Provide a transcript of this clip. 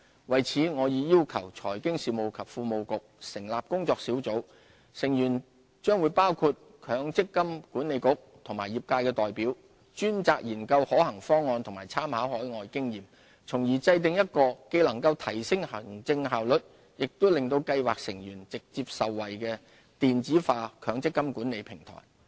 為此，我已要求財經事務及庫務局成立工作小組，成員將包括強制性公積金計劃管理局及業界代表，專責研究可行方案及參考海外經驗，從而制訂一個既能提升行政效率，又令計劃成員直接受惠的電子化強制性公積金管理平台。